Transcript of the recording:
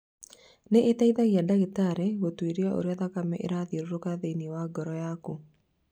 Nĩ ĩteithagia ndagĩtarĩ gũtuĩria ũrĩa thakame ĩrathiũrũka thĩinĩ wa ngoro yaku.